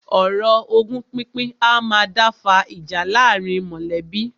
Ọ̀rọ̀ ogún pínpín a máa dá fa ìjà láàárín mọ̀lẹ́bí.